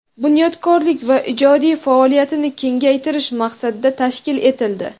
bunyodkorlik va ijodiy faoliyatini kengaytirish maqsadida tashkil etildi.